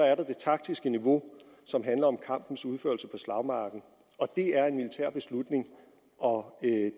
er der det taktiske niveau som handler om kampens udførelse på slagmarken og det er en militær beslutning og